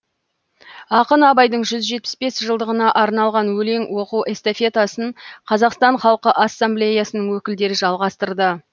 ақын абайдың жүз жетпіс бес жылдығына арналған өлең оқу эстафетасын қазақстан халқы ассамблеясының өкілдері жалғастырды